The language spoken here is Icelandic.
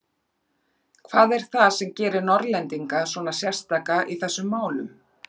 Hvað er það sem gerir Norðlendinga svona sérstaka í þessum málum?